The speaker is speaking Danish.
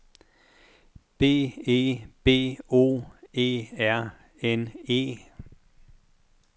B E B O E R N E